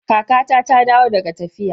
Kakata ta dawo daga tafiya.